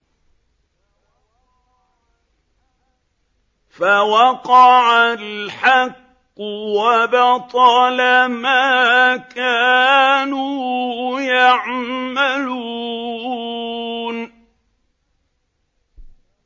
فَوَقَعَ الْحَقُّ وَبَطَلَ مَا كَانُوا يَعْمَلُونَ